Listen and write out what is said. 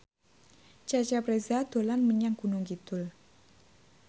Cecep Reza dolan menyang Gunung Kidul